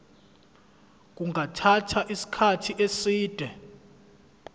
kungathatha isikhathi eside